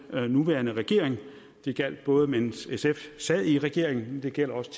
nuværende regering det gjaldt både mens sf sad i regering men det gælder også